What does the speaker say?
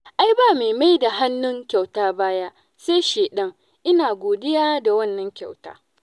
Ai ba mai maida hannun kyauta baya sai shaiɗan, ina godiya da wannan kyauta.